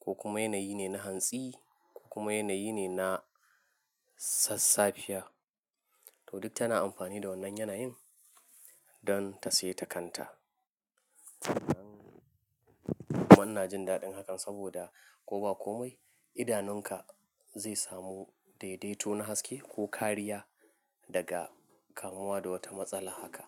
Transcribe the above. ko kuma yanayi ne na hantsi ko kuma yanayi ne na sassafiya. To duk tana amfani da wannan yanayin don ta saya ta kanta. Manna jin daɗin hakan saboda ko ba komai idanunka zai samu daidaito na haske ko kariya daga kamuwa da wata matsala haka.